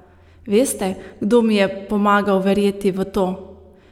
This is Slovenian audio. Veste, kdo mi je pomagal verjeti v to?